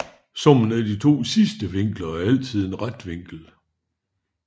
Summen af de sidste to vinkler er altid en ret vinkel